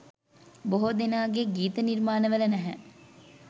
බොහෝ දෙනාගේ ගීත නිර්මාණ වල නැහැ.